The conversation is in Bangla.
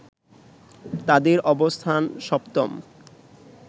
তাদের অবস্থান সপ্তম